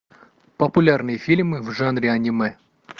популярные фильмы в жанре аниме